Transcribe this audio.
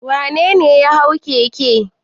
Wane ne ya hau keke?